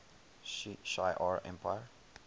shi ar empire